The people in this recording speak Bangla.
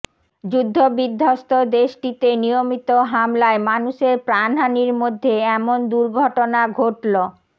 যুদ্ধবিধ্বস্ত দেশটিতে নিয়মিত হামলায় মানুষের প্রাণহানির মধ্যে এমন দুর্ঘটনা ঘটল